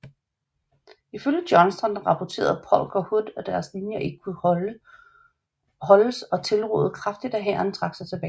Ifølge Johnston rapporterede Polk og Hood at deres linjer ikke kunne holdes og tilrådede kraftigt at hæren trak sig tilbage